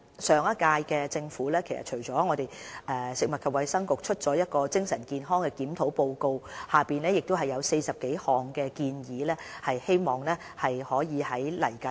上屆政府的食物及衞生局發表了精神健康檢討報告，提出40多項建議，我們希望未來可以實行相關建議。